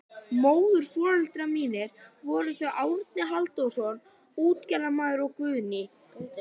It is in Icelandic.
Móðurforeldrar mínir voru þau Árni Halldórsson útgerðarmaður og Guðný